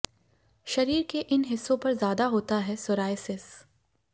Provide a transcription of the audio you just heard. शरीर के इन हिस्सों पर ज्यादा होता है सोरायसिस